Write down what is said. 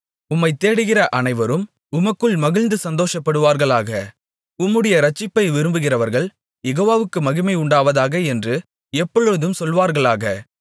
உம்மைத் தேடுகிற அனைவரும் உமக்குள் மகிழ்ந்து சந்தோஷப்படுவார்களாக உம்முடைய இரட்சிப்பை விரும்புகிறவர்கள் யெகோவாவுக்கு மகிமை உண்டாவதாக என்று எப்பொழுதும் சொல்வார்களாக